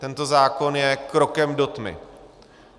Tento zákon je krokem do tmy.